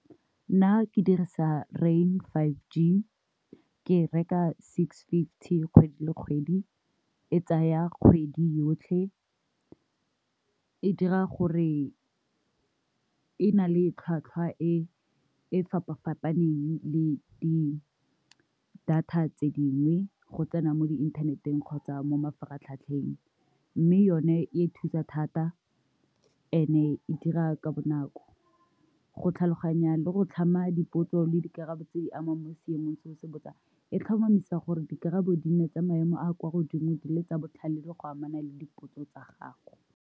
Nna ke dirisa Rain five G, ke reka six-fifty kgwedi le kgwedi, e tsaya kgwedi yotlhe, e dira gore e na le tlhwatlhwa e e fapafapaneng le data tse dingwe go tsena mo inthaneteng kgotsa mo mafaratlhatlheng, mme yone e thusa thata e ne e dira ka bonako go tlhaloganya le go tlhama dipotso le dikarabo tse di amang mo seemong se o se botsang e tlhomamisa gore dikarabo di nne tsa maemo a kwa godimo di le tsa botlhale le go amana le dipotso tsa gago.